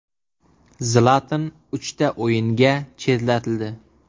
Zlatan uchta o‘yinga chetlatildi.